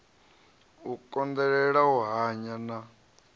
u konḓelela u hanya na